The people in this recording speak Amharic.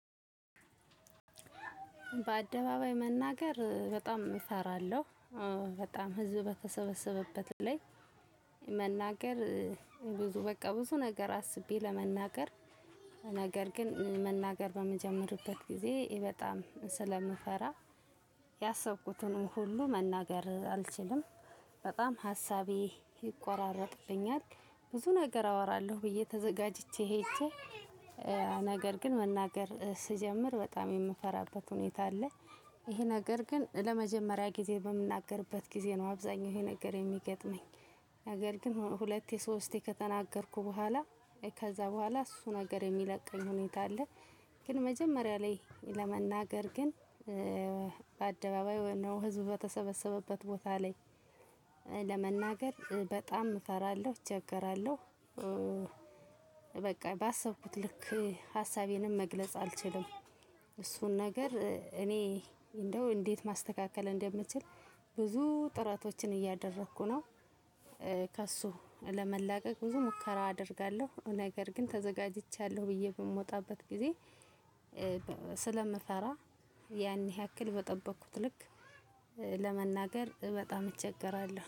በአደባባይ መናገር በጣም እፈራለሁ። በጣም ህዝብ በተሰበሰበበት ላይ መናገር ብዙ በቃ ብዙ ነገር አስቤ ለመናገር ነገር ግን መናገር በምጀምርበት ጊዜ በጣም ስለምፈራ ያሰብኩትን ሁሉ መናገር አልችልም። በጣም ሀሳቤ ይቆራረጥብኛል። ብዙ ነገር አወራለሁ ብዬ ተዘጋጅቼ ሄጄ ነገር ግን መናገር ስጀምር በጣም የምፈራበት ሁኔታ አለ። ይሄ ነገር ግን ለመጀመሪያ ጊዜ በምናገርበት ጊዜ ነው አብዛኛው ይሄ ነገር የሚገጥመኝ ነገር ግን ሁለቴ ሶስቴ ከተናገርኩ በኋላ ከዛ በኋላ እሱ ነገር የሚለቀኝ ሁኔታ አለ ግን መጀመሪያ ላይ ለመናገር ግን በአደባባይ ወይንም ህዝብ በተሰበሰበበት ቦታ ላይ ለመናገር በጣም እፈራለሁ፤ እቸገራለሁ። በቃ ባሰብኩት ልክ ሀሳቤንም መግለጽ አልችልም። እሱን ነገር እኔ እንደው እንዴት ማስተካከል እንደምችል ብዙ ጥረቶችን እያደረኩ ነው። ከእሱ ለመላቀቅ ብዙ ሙከራ አደርጋለሁ ነገር ግን ተዘጋጅቻለሁ ብዬ በምወጣበት ጊዜ ስለምፈራ ያን ያክል በጠበቅኩት ልክ ለመናገር በጣም እቸገራለሁ።